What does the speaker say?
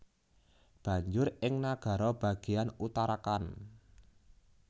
Banjur ing nagara bagéyan Uttarakhand